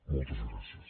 moltes gràcies